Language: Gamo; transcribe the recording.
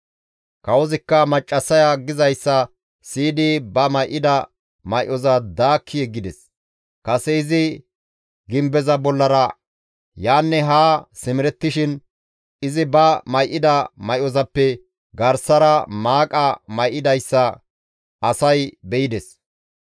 Kawozikka maccassaya gizayssa siyidi ba may7ida may7oza daakki yeggides; kase izi gimbeza bollara yaanne haa simerettishin izi ba may7ida may7ozappe garsara maaqa may7idayssa asay be7ides.